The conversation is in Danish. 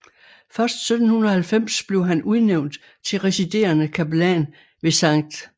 Først 1790 blev han udnævnt til residerende kapellan ved St